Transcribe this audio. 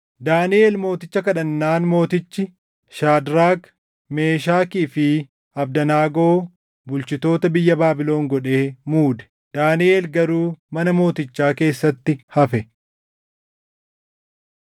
Daaniʼel mooticha kadhannaan mootichi Shaadraak, Meeshakii fi Abdanaagoo bulchitoota biyya Baabilon godhee muude. Daaniʼel garuu mana mootichaa keessatti hafe.